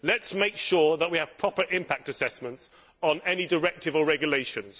Let us make sure that we have proper impact assessments on any directive or regulations.